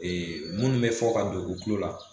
Ee munnu be fɔ ka don u tulo la